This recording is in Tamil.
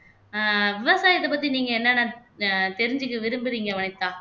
அஹ் விவசாயத்தை பத்தி நீங்க என்னென்ன அஹ் தெரிஞ்சுக்க விரும்புறீங்க வனிதா